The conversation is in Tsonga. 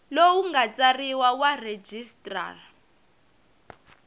lowu nga tsariwa wa registrar